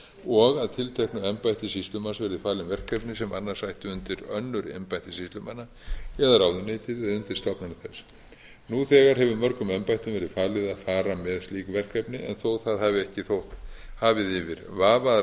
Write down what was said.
og að tilteknu embætti sýslumanns verði falin verkefni sem annars ættu undir önnur embætti sýslumanna eða ráðuneytið eða undirstofnanir þess nú þegar hefur mörgum embættum verið falið að fara með slík verkefni en þó það hafi ekki þótt hafið yfir vafa að